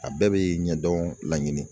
A bɛɛ bɛ ɲɛdɔn laɲini.